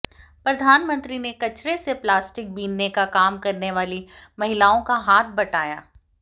प्रधानमंत्री ने कचरे से प्लास्टिक बीनने का काम करने वाली महिलाओं का हाथ बंटाया